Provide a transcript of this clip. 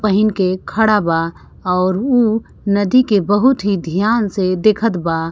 पहिन के खड़ा बा और उ नदी के बहुत ही ध्यान से देखत बा।